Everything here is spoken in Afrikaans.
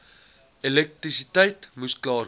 elektrisiteit moes klaarkom